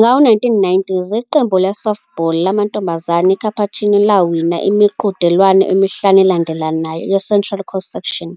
Ngawo-1990s, iqembu le-softball lamantombazane eCapuchino lawina imiqhudelwano emihlanu elandelanayo yeCentral Coast Section,